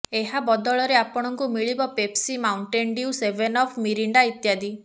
ଏହା ବଦଳରେ ଆପଣଙ୍କୁ ମିଳିବ Pepsi Mountain Dew Seven Up Mirinda ଇତ୍ୟାଦି